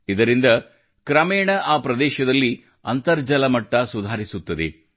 ಇದರಿಂದ ಕ್ರಮೇಣ ಆ ಪ್ರದೇಶದಲ್ಲಿ ಅಂತರ್ಜಲ ಮಟ್ಟ ಸುಧಾರಿಸುತ್ತದೆ